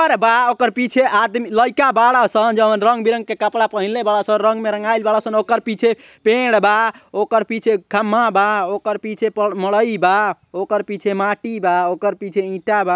पेड़ बा ओकरा पीछे आदमी लइका बड़ासं जउन रंग बिरंग के कपड़ा पहइनले बारसन। रंग में रंगाइल बारसन ओकर पीछे पेड़ बा ओकर पीछे खम्बा बा ओकर पीछे प मरइ बा। ओकर पीछे माटी बा ओकर पीछे इटा बा।